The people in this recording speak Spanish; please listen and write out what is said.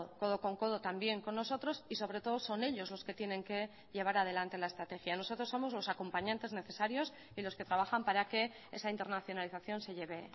codo con codo también con nosotros y sobre todo son ellos los que tienen que llevar adelante la estrategia nosotros somos los acompañantes necesarios y los que trabajan para que esa internacionalización se lleve